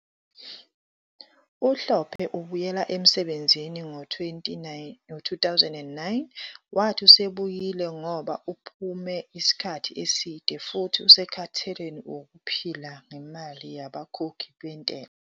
UHlophe ubuyele emsebenzini ngo-2009, wathi usebuyile ngoba "uphume isikhathi eside" futhi usekhathele wukuphila ngemali yabakhokhi bentela.